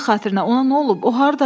Allah xatirinə ona nə olub?